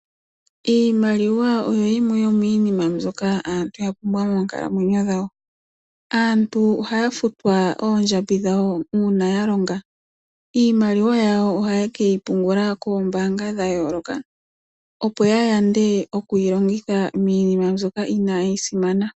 Iimaliwa oyo yimwe yomiinima mbyoka aantu yapumbwa moonkalamwenyo dhawo. Aantu ohaya futwa oondjambi dhawo uuna ya longa, iimaliwa yawo ohaye keyi pungula koombaanga dhayoolokathana, opo yayande okuyi longitha miinima mbyoka iinayi simana.